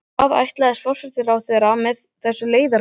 Hvað ætlaðist forsætisráðherra fyrir með þessu leiðarbréfi?